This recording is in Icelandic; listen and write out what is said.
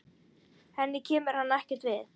Henni kemur hann ekkert við.